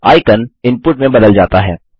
icon input में बदल जाता है